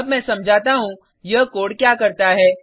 अब मैं समझाता हूँ यह कोड क्या करता है